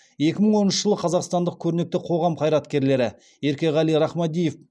екі мың оныншы жылы қазақстандық көрнекті қоғам қайраткерлері еркеғали рахмадиев